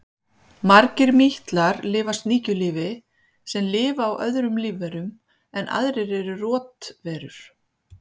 margir mítlar lifa sníkjulífi sem lifa á öðrum lífverum en aðrir eru rotverur